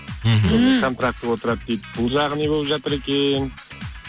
мхм контрактке отырады дейді бұл жағы не болып жатыр екен